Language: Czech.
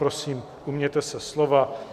Prosím, ujměte se slova.